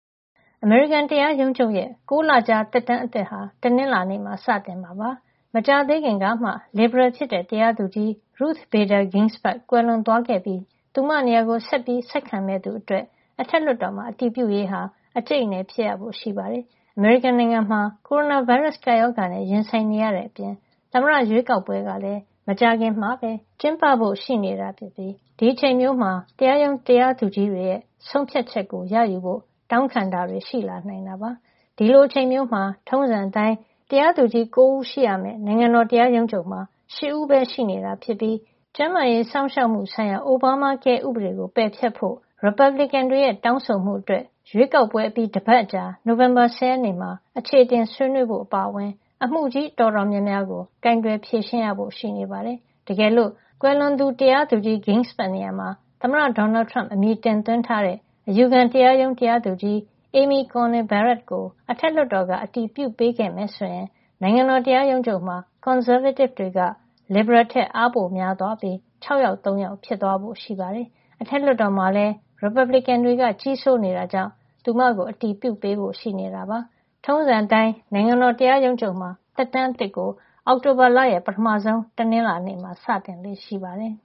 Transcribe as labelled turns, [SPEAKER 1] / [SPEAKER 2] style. [SPEAKER 1] အမေရိကန်တရားရုံးချုပ်ရဲ့ ၉ လကြာ သက်တမ်းအသစ်ဟာ တနင်္လာနေ့မှာ စတင်မှာ ဖြစ်ပါတယ်။ မကြာသေးခင်ကမှ လစ်ဘရယ်ဖြစ်တဲ့ တရားသူကြီး Ruth Bader Ginsburg ကွယ်လွန်သွားခဲ့ပြီး သူမနေရာကို ဆက်ခံမယ့်သူအတွက် အထက်လွှတ်တော်မှာ အတည်ပြုရေးဟာ အကြိတ်အနယ်ဖြစ်ဖို့ ရှိပါတယ်။ အမေရိကန်နိုင်ငံမှာ ကိုရိုနာဗိုင်းရပ်စ် ကပ်ရောဂါနဲ့ ရင်ဆိုင်နေရတဲ့အပြင် သမ္မတရွေးကောက်ပွဲကလည်း မကြာခင်မှာပဲ ကျင်းပဖို့ ရှိနေတာဖြစ်ပြီး ဒီအချိန်မျိုးမှာ တရားရုံး တရားသူကြီးတွေရဲ့ ဆုံးဖြတ်ချက်ကို ရယူဖို့ တောင်းခံတာတွေ ရှိလာနိုင်တာပါ။ ဒီလိုအချိန်မျိုးမှာ ထုံးစံအတိုင်း တရားသူကြီး ၉ ဦး ရှိရမယ့် နိုင်ငံတော်တရားရုံးချုပ်မှာ ၈ ဦးပဲ ရှိနေတာဖြစ်ပြီး ကျန်းမာရေး စောင့်ရှောက်မှုဆိုင်ရာ Obamacare ဥပဒေကို ပယ်ဖျက်ဖို့ ရီပတ်ဘလစ်ကန်တွေရဲ့ တောင်းဆိုမှုအတွက် ရွေးကောက်ပွဲအပြီး တပတ်အကြာ နိုဝင်ဘာ ၁၀ ရက်နေ့မှာ အချေအတင် ဆွေးနွေးဖို့ အပါအဝင် အမှုကြီးအတော်များများကို ကိုင်တွယ်ဖြေရှင်းရဖို့ ရှိနေပါတယ်။ တကယ်လို့ ကွယ်လွန်သူ တရားသူကြီး Ginsburg နေရာမှာ သမ္မတ Donald Trump အမည်တင်သွင်းထားတဲ့ အယူခံတရားရုံး တရားသူကြီး Amy Coney Barrett ကို အထက်လွှတ်တော်က အတည်ပြုပေးခဲ့မယ်ဆိုရင် နိုင်ငံတော်တရားရုံးချုပ်မှာ ကွန်ဆာဗေးတစ်တွေက လစ်ဘရယ်ထက် အားပိုများသွားပြီး ၆ ယောက် ၃ ယောက် ဖြစ်သွားဖို့ရှိပါတယ်။ အထက်လွှတ်တော်မှာလည်း ရီပတ်ဘလစ်ကန်တွေ ကြီးစိုးနေတာကြောင့် သူမကို အတည်ပြုပေးဖို့ ရှိနေတာပါ။ ထုံးစံအတိုင်း နိုင်ငံတော်တရားရုံးချုပ်မှာ သက်တမ်းအသစ်ကို အောက်တိုဘာလရဲ့ ပထမဆုံး တနင်္လာနေ့မှာ စတင်လေ့ရှိပါတယ်